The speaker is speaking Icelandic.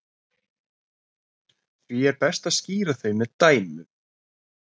Því er best að skýra þau með dæmum.